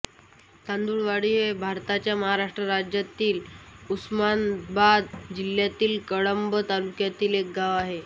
तांदुळवाडी हे भारताच्या महाराष्ट्र राज्यातील उस्मानाबाद जिल्ह्यातील कळंब तालुक्यातील एक गाव आहे